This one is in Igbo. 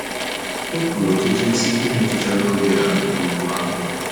E kwuru ọtụtụ isi ihe metụtara oge a n'okwu ahụ.